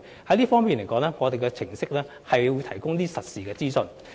在這方面，我們的程式會提供實時資訊。